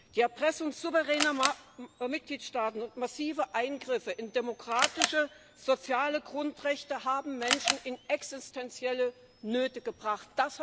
Die Erpressung souveräner Mitgliedstaaten und massive Eingriffe in demokratische soziale Grundrechte haben Menschen in existenzielle Nöte gebracht.